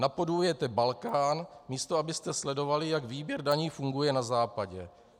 Napodobujete Balkán, místo abyste sledovali, jak výběr daní funguje na Západě.